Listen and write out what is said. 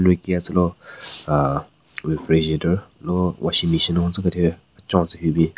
Anyu ki yatselo ahh refrigerator lo washing machine hon tsekethyu kechon tsü hyu bin.